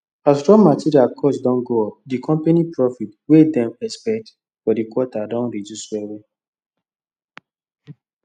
as raw material cost don go up the company profit wey dem expect for the quarter don reduce well well